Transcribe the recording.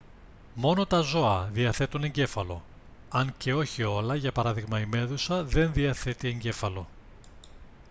μόνο τα ζώα διαθέτουν εγκέφαλο αν και όχι όλα για παράδειγμα η μέδουσα δεν διαθέτει εγκέφαλο